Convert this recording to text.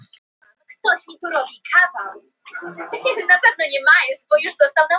Hjörtur: Finnst þér þetta hafa skaða já skulum við segja heiður Háskóla Íslands?